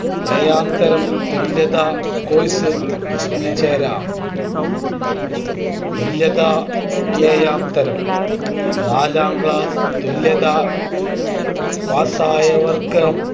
ഏഴാംതരം തുല്യതാ Course ന് ചേരാം തുല്യതാ ഏഴാംതരം നാലാം ക്ലാസ് തുല്യതാ പാസായവർക്ക്